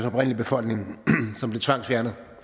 oprindelige befolkning som blev tvangsfjernet